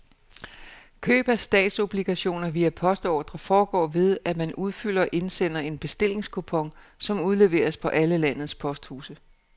Køb af statsobligationer via postordre foregår ved, at man udfylder og indsender en bestillingskupon, som udleveres på alle landets posthuse.